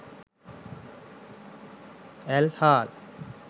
ඇල් හාල්